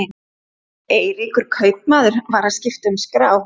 Eiríkur kaupmaður var að skipta um skrá.